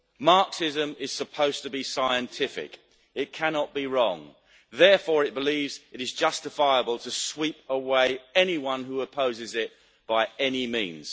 Marxism is supposed to be scientific. It cannot be wrong. Therefore, it believes it is justifiable to sweep away anyone who opposes it by any means.